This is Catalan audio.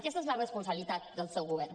aquesta és la responsabilitat del seu govern